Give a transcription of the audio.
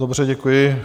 Dobře, děkuji.